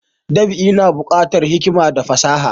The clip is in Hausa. Dab'i na bukatar hikima da fasaha